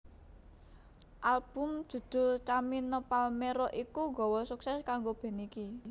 Album judhul Camino Palmero iku gawa suksesé kanggo band iki